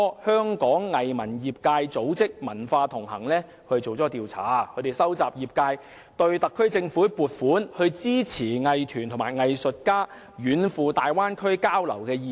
香港藝術文化業界組識"文化同行"今年年初進行了一項調查，收集業界對特區政府撥款支持藝團及藝術家遠赴大灣區交流的意見。